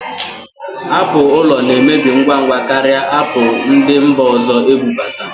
Apụl ụlọna-emebi ngwa ngwa karịa apụl ndị mba ọzọ ebubata